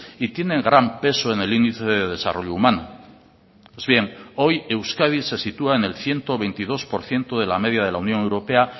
y tiene gran peso en el índice de desarrollo humano pues bien hoy euskadi se sitúa en el ciento veintidós por ciento de la media de la unión europea